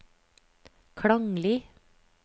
klanglig